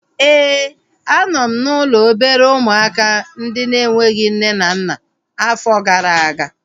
Éè, a nọ m n'ụlọ obere ụmụaka ndị na-enweghị nne na nna afọ gara aga